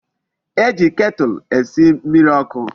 E ji ketulu esi mmiri oku